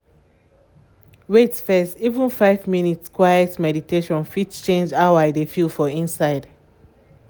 wait fess — even five minutes quiet meditation fit change how i dey feel for inside